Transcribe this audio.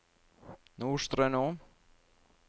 Nordstrøno